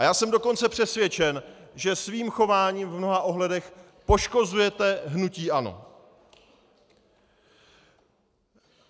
A já jsem dokonce přesvědčen, že svým chováním v mnoha ohledech poškozujete hnutí ANO.